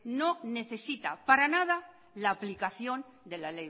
no necesita para nada la aplicación de la